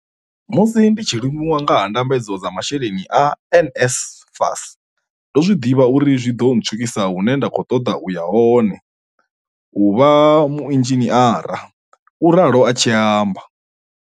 Musi ndi tshi limuwa nga ha ndambedzo dza masheleni a NSFAS, ndo zwi ḓivha uri zwi ḓo ntswikisa hune nda khou ṱoḓa u ya hone u vha muinzhiniara, u ralo a tshi amba.